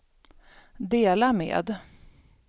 dela med